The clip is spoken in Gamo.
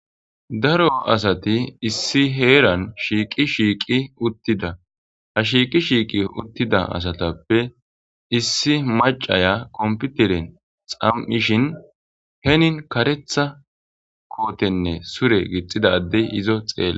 Daro asati issi heerani shiqi shiqi uttida ha shiqi shiqi uttida asatappe issi macaya komipitere xaamishin heni kareththa kotenne sure gidida adey izo xelidees